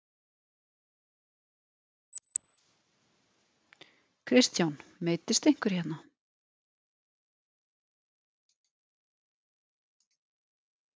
Kristján: Meiddist einhver hérna?